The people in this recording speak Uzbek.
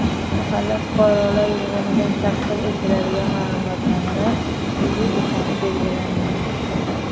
Mahalla fuqarolar yig‘inidan taqdim etiladigan ma’lumotnomalar pulli ekani belgilanmagan.